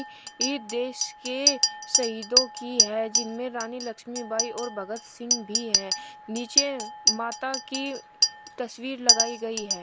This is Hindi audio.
ये देश के शहीदों की है जिनमें रानी लक्ष्मीबाई और भगत सिंह भी हैं नीचे माता की तस्वीर लगाई गई है।